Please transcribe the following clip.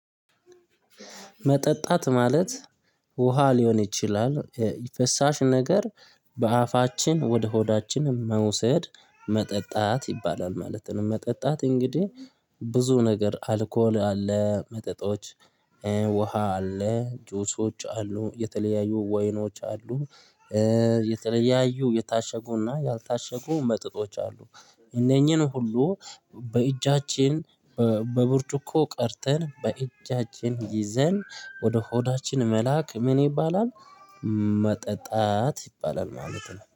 መጠጣት ማለት ውሃ ሊሆን ይችላል የፈሳሽ ነገር በአፋችን ወደ ሆዳችን መውሰድ መጠጣት ይባላል ማለት ነው። መጠጣት እንግዲህ ብዙ ነገር አልኮል አለ መጠጦች። ውሃ አለ ጁሶች አሉ የተለያዩ ወይኖች አሉ። የተለያዩ የታሸጉና ያልታሸጉ መጠጦች አሉ። እነኚህን ሁሉ በእጃችን በብርጭቆ ቀድተን በእጃችን ይዘን ወደ ሆዳችን መላክ ምን ይባላል? መጠጣት ይባላል ማለት ነው